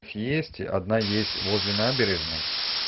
есть одна есть возле набережной